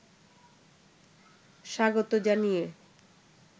স্বাগত জানিয়ে